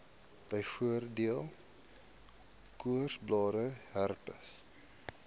byvoorbeeld koorsblare herpes